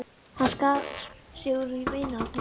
Hann skar sig úr í vinahópnum mínum.